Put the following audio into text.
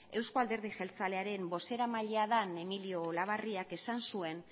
eusko alderdi jeltzalearen bozeramailea den emilio olabarriak esan zuen